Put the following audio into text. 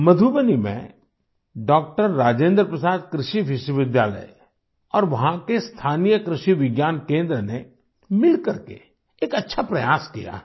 मधुबनी में डॉक्टर राजेन्द्र प्रसाद कृषि विश्वविद्यालय और वहाँ के स्थानीय कृषि विज्ञान केंद्र ने मिलकर के एक अच्छा प्रयास किया है